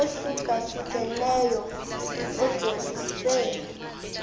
ohlukahlukeneyo ajolise